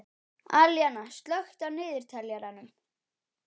Alíana, slökktu á niðurteljaranum.